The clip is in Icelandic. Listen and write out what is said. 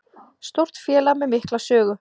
Stórt félag með mikla sögu